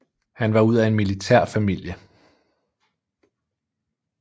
Han var ud af en militær familie